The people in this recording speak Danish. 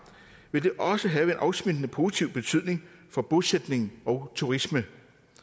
vil det også have afsmittende positiv betydning for bosætning og turisme